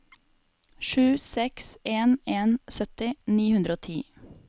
sju seks en en sytti ni hundre og ti